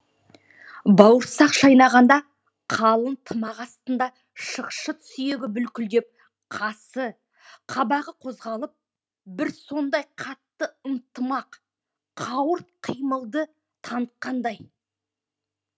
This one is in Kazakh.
бауырсақ шайнағанда қалың тымақ астында шықшыт сүйегі бүлкілдеп қасы қабағы қозғалып бір сондай қатты ынтымақ қауырт қимылды танытқандай